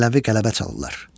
Mənəvi qələbə çalırlar.